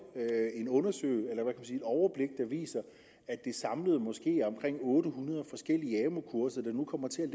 et overblik der viser at det samlet måske er omkring otte hundrede forskellige amu kurser der nu kommer til at